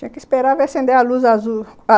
Tinha que esperar ver acender a luz azul.